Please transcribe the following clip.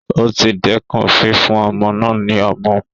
O ti dẹkùn fífún ọmọ náà ní ọmu